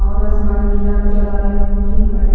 और आसमान नीला नजर आ रहा है दिन काटे--